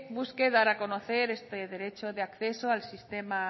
busque dar a conocer este derecho de acceso al sistema